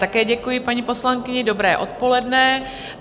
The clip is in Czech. Také děkuji paní poslankyni, dobré odpoledne.